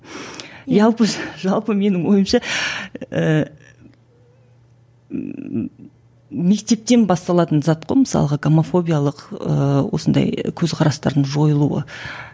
жалпы менің ойымша ііі мектептен басталатын зат қой мысалға гомофобиялық ыыы осындай көзқарастардың жойылуы